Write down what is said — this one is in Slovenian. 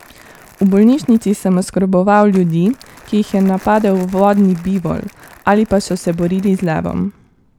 V bolnišnici sem oskrboval ljudi, ki jih je napadel vodni bivol ali pa so se borili z levom.